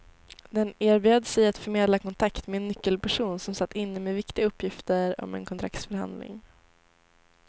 Den erbjöd sig att förmedla kontakt med en nyckelperson som satt inne med viktiga uppgifter om en kontraktsförhandling.